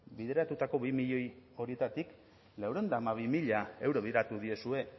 bideratutako bi milioi horietatik laurehun eta hamabi mila euro diezue